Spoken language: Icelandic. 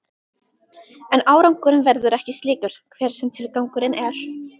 En árangurinn verður ekki slíkur, hver sem tilgangurinn er.